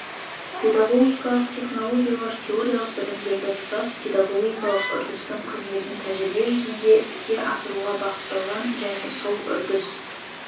педагогикалық технологиялар теориялық білімдерді тұтас педагогикалық үрдістің қызметін тәжірибе жүзінде іске асыруға бағытталған және сол үрдіс